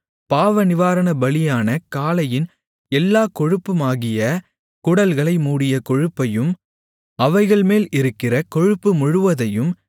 பாவநிவாரணபலியான காளையின் எல்லாக் கொழுப்புமாகிய குடல்களை மூடிய கொழுப்பையும் அவைகள்மேல் இருக்கிற கொழுப்பு முழுவதையும்